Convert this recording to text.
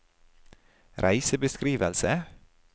reisebeskrivelse